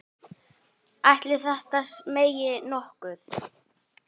Ætli þetta megi nokkuð?